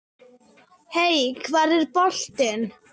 Hey hvar er boltinn?